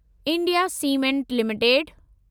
India cement limited